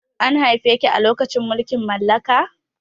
An haife ki a lokacin mulkin mallaka?